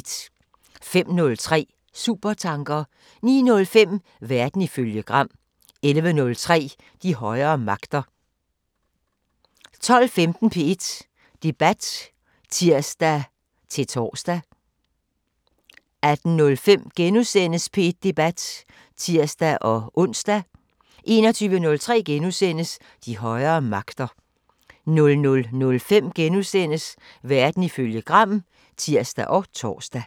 05:03: Supertanker 09:05: Verden ifølge Gram 11:03: De højere magter 12:15: P1 Debat (tir-tor) 18:05: P1 Debat *(tir-ons) 21:03: De højere magter * 00:05: Verden ifølge Gram *(tir og tor)